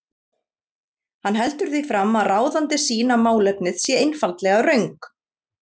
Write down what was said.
Hann heldur því fram að ráðandi sýn á málefnið sé einfaldlega röng.